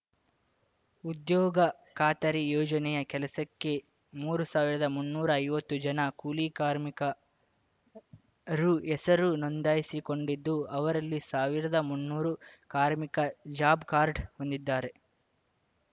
ಉದ್ಯೋಗ ಖಾತರಿ ಯೋಜನೆಯ ಕೆಲಸಕ್ಕೆ ಮೂರು ಸಾವಿರದಮುನ್ನೂರು ಐವತ್ತು ಜನ ಕೂಲಿಕಾರ್ಮಿಕರು ಹೆಸರು ನೋಂದಾಯಿಸಿಕೊಂಡಿದ್ದು ಅವರಲ್ಲಿ ಸಾವಿರದ ಮುನ್ನೂರು ಕಾರ್ಮಿಕರು ಜಾಬ್‌ ಕಾರ್ಡ್‌ ಹೊಂದಿದ್ದಾರೆ